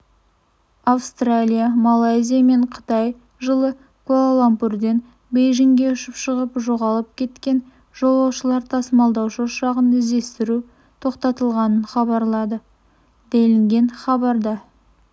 австралия малайзия мен қытай жылы куала-лумпурден бейжіңге ұшқып шығып жоғалып кеткен жолаушылар тасымалдаушы ұшағын іздестіру тоқталығанын хабарлады делінген хабарда